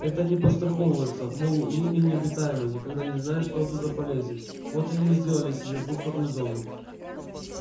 это они подстраховываются мол линия необитаемая никогда не знаешь что оттуда полезет вот они и сделали себе буферную зону